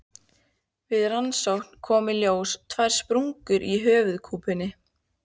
Við rannsókn komu í ljós tvær sprungur á höfuðkúpunni.